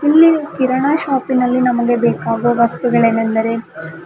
ಇಲ್ಲಿ ಕಿರಣ ಶಾಪಿನಲ್ಲಿ ನಮಗೆ ಬೇಕಾಗುವ ವಸ್ತುಗಳೇನೆಂದರೆ--